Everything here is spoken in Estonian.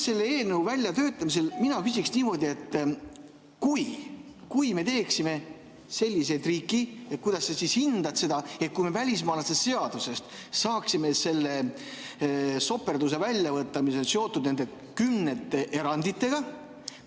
Selle eelnõu väljatöötamise küsiksin mina niimoodi: kui me teeksime sellise triki, kuidas sa siis hindad seda, kui me välismaalaste seadusest saaksime selle soperduse välja võtta, mis on seotud nende kümnete eranditega?